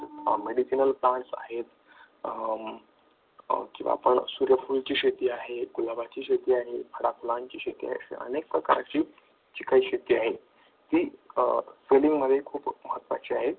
plants आहेत, किंवा सूर्यफूल ची शेती आहे, गुलाबाची शेती आहे, फळांची शेती आहे, अशा अनेक प्रकारची शेती आहे, हे selling मध्ये खूप महत्त्वाची आहे.